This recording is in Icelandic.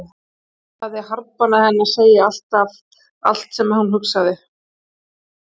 Heiða hafði harðbannað henni að segja alltaf allt sem hún hugsaði.